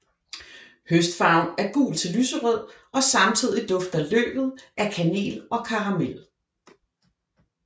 Høstfarven er gul til lyserød og samtidigt dufter løvet af kanel og karamel